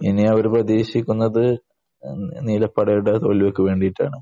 ഇനി അവർ പ്രതീക്ഷിക്കുന്നത് നീലപ്പടയുടെ തോൽവിക്ക് വേണ്ടിയിട്ടാണ്.